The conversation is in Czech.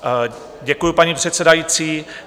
Děkuji, paní předsedající.